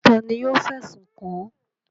Ta ni yóò fẹ̀sùn kàn án?